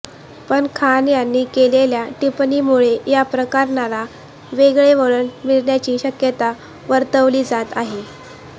पण खान यांनी केलेल्या टिप्पणीमुळे या प्रकरणाला वेगळे वळण मिळण्याची शक्यता वर्तवली जात आहे